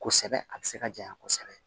Kosɛbɛ a bɛ se ka janya kosɛbɛ